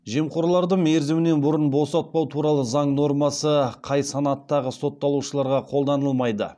жемқорларды мерзімінен бұрын босатпау туралы заң нормасы қай санаттағы сотталушыларға қолданылмайды